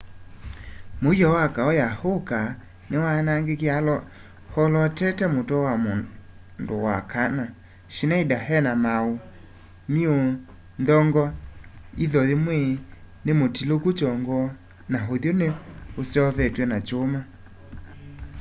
muio ya kau ya uka niwaanagikie alootete mutwe wa mundu wa kana schneider ena mauumiu nthong'o iitho yimwe nimutiloiku chongo na uthyu ni useuvitwe na chuma